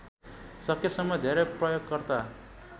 सकेसम्म धेरै प्रयोगकर्ता